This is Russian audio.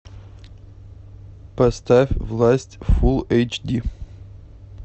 поставь власть фулл эйч ди